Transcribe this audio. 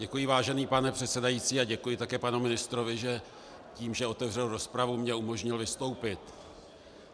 Děkuji, vážený pane předsedající, a děkuji také panu ministrovi, že tím, že otevřel rozpravu, mi umožnil vystoupit.